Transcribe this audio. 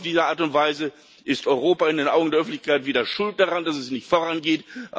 Auf diese Art und Weise ist Europa in den Augen der Öffentlichkeit wieder schuld daran, dass es nicht vorangeht.